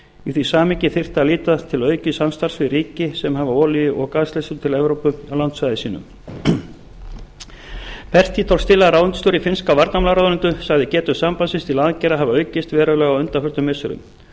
í því samhengi þyrfti að líta til aukins samstarfs við ríki sem hafa olíu og gasleiðslur til evrópu á landsvæði sínu ráðuneytisstjóri finnska varnarmálaráðuneytisins sagði getu sambandsins til aðgerða hafa aukist verulega á undanförnum missirum